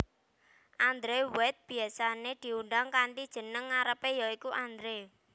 Andrew White biyasané diundang kanthi jeneng ngarepé ya iku Andrew